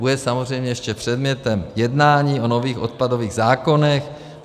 Bude samozřejmě ještě předmětem jednání o nových odpadových zákonech.